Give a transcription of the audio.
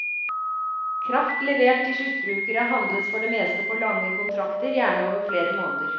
Kraft levert til sluttbrukere handles for det meste på lange kontrakter, gjerne over flere måneder.